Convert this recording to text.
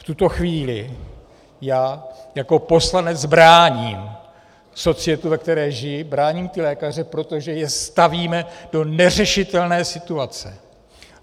V tuto chvíli já jako poslanec bráním societu, ve které žiji, bráním ty lékaře, protože je stavíme do neřešitelné situace.